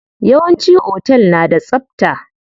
Yawanci otel na da tsabta.